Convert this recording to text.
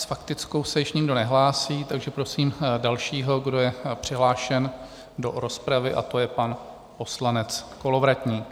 S faktickou se již nikdo nehlásí, takže prosím dalšího, kdo je přihlášen do rozpravy, a to je pan poslanec Kolovratník.